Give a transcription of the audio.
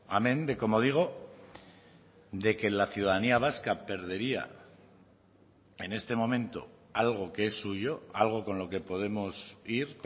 amén de como digo de que la ciudadanía vasca perdería en este momento algo que es suyo algo con lo que podemos ir